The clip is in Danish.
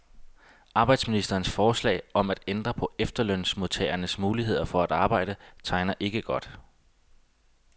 Arbejdsministerens forslag om at ændre på efterlønsmodtagernes muligheder for at arbejde tegner ikke godt.